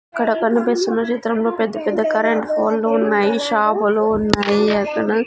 ఇక్కడ కనిపిస్తున్న చిత్రంలో పెద్ద పెద్ద కరెంటు పోల్లు ఉన్నాయి షాపులు ఉన్నాయి అక్కడ--